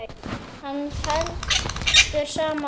Hann var felldur sama dag.